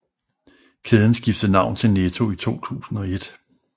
Kæden skiftede navn til Netto i 2001